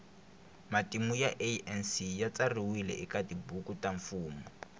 matimu ya anc yatsariwe ekatibhuku tamfumo